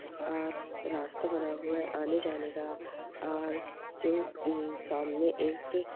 और रास्ता बना हुआ है आने जाने का और जो इस सामने एक--